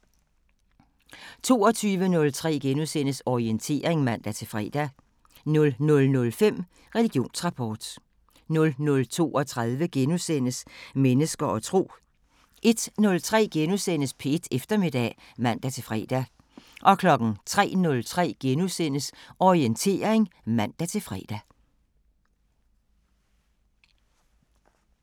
22:03: Orientering *(man-fre) 00:05: Religionsrapport 00:32: Mennesker og tro * 01:03: P1 Eftermiddag *(man-fre) 03:03: Orientering *(man-fre)